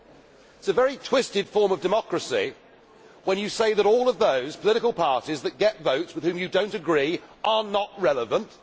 It is a very twisted form of democracy when he says that all of those political parties that get votes with which you do not agree are not relevant.